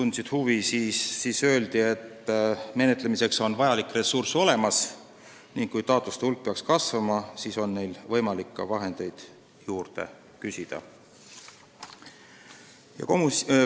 Selle peale öeldi, et taotluste menetlemiseks vajalik ressurss on olemas ning kui taotluste hulk peaks kasvama, siis on võimalik ahendeid juurde küsida.